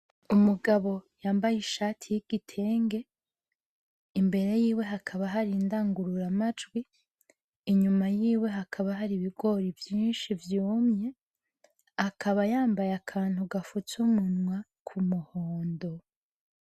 Umugabo yambaye ishati y'igitenge, imbere yiwe hakaba hari indangururamajwi, inyuma yiwe hakaba hari ibigori vyinshi vyumye, akaba yambaye akantu gafutse umunwa kumuhondo.